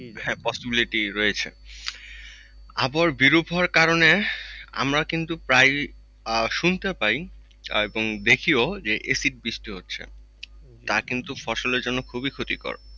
হ্যাঁ possibility রয়েছে। আবহাওয়া বিরূপ হওয়ার কারণে আমরা কিন্তু প্রায় আহ শুনতে পায় এবং দেখিও acid বৃষ্টি হচ্ছে তারা কিন্তু ফসলের জন্য খুবই ক্ষতিকর